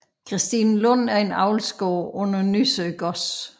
Christinelund er en avlsgård under Nysø Gods